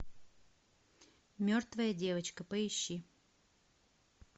мертвая девочка поищи